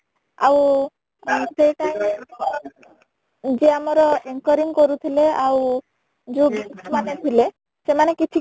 ଆଉ ସେଇ time ରେ ଯିଏ ଆମର anchoring କରୁଥିଲେ ଆଉ ଯୋଉ guest ମାନେ ଥିଲେ ସେମାନେ କିଛି